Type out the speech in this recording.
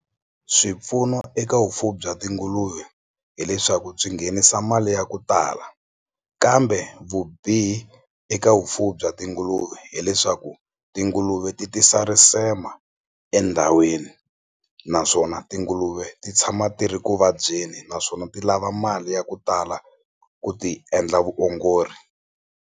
Swipfuno eka vufuwi bya tinguluve hileswaku byi nghenisa mali ya ku tala kambe vubihi eka vufuwi bya tinguluve hileswaku tinguluve ti tisa risema endhawini naswona tinguluve ti tshama ti ri ku vabyeni naswona ti lava mali ya ku tala ku ti endla vuongori.